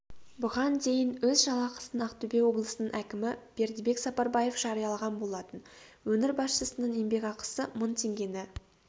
бұған дейін өз жалақысын ақтөбе облысының әкімі бердібек сапарбаев жариялаған болатын өңір басшысының еңбекақысы мың теңгені